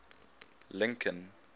lincoln